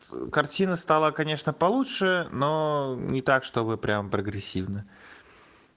картина стала конечно получше но не так что вы прямо прогрессивны